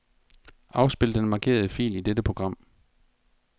Afspil den markerede fil i dette program.